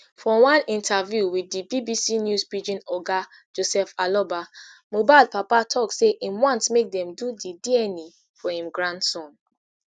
for one interview wit di bbc news pidgin oga joseph aloba mohbad papa tok say im want make dem do di dna for im grandson